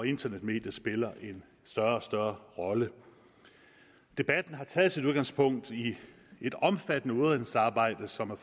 internetmediet spiller en større og større rolle debatten har taget sit udgangspunkt i et omfattende udredningsarbejde som er